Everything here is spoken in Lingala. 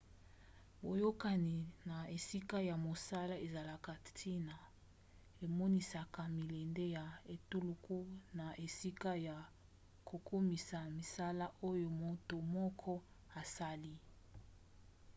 boyokani na esika ya mosala ezalaka ntina emonisaka milende ya etuluku na esika ya kokumisa misala oyo moto moko asali